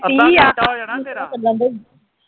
ਅੱਧਾ ਘੰਟਾ ਹੋ ਜਾਣਾ ਤੇਰਾ